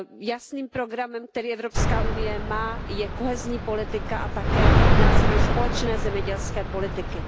Jasným programem, který Evropská unie má, je kohezní politika a také nástroj společné zemědělské politiky.